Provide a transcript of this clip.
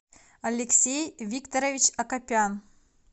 алексей викторович акопян